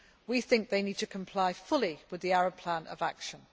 We think that they need to comply fully with the Arab Plan of Action.